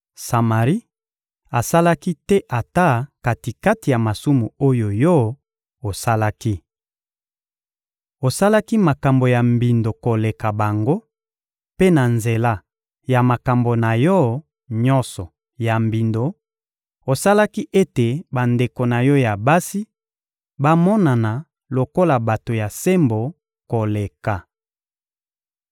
Samari asalaki te ata kati-kati ya masumu oyo yo osalaki. Osalaki makambo ya mbindo koleka bango; mpe na nzela ya makambo na yo nyonso ya mbindo, osalaki ete bandeko na yo ya basi bamonana lokola bato ya sembo koleka.